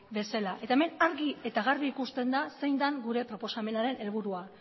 bezala eta hemen argi eta garbi ikusten zein den gure proposamenaren helburua